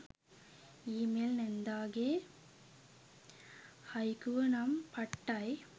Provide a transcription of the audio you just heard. ඊ mail නැන්දගේ හයිකුව නම් පට්ටයි.